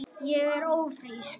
Ég er ófrísk!